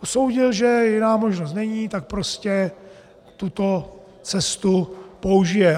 Usoudil, že jiná možnost není, tak prostě tuto cestu použije.